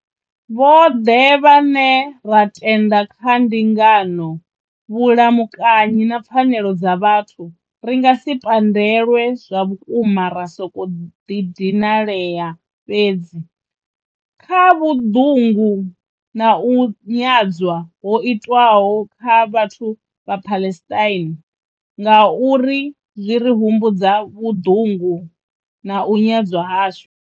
Vhoḓhe vhane ra tenda kha ndingano, vhulamukanyi na pfanelo dza vhathu, ri nga si pandelwe zwavhukuma ra sokou dinalea fhedzi, kha vhuḓungu na u nyadzwa ho itwaho kha vhathu vha Palestine, ngauri zwi ri humbudza vhuḓungu na u nyadzwa hashu.